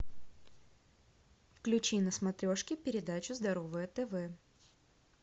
включи на смотрешке передачу здоровое тв